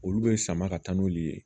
Olu bɛ sama ka taa n'olu ye